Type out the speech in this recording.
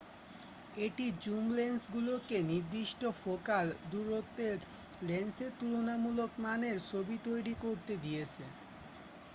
এটি জুম লেন্সগুলোকে নির্দিষ্ট ফোকাল দূরত্বের লেন্সের তুলনামূলক মানের ছবিতৈরি করতে দিয়েছে